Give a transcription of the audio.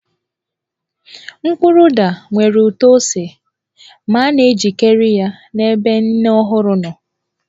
Mkpụrụ ụda nwere ụtọ ose ma a na-ejikarị ya n'ebe nne ọhụrụ nọ.